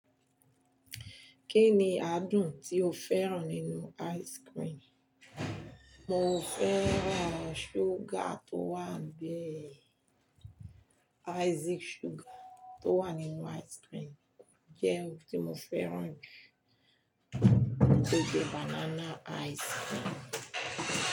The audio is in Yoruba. Kí ni adùn tí o fẹ́ràn nínú ice cream? Mo fẹ́ràn sugar tó wa bee. Ice sugar tó wa ninu ice cream jẹ́ ohun tí mo fẹ́ràn jù tó jẹ́ banana ice cream.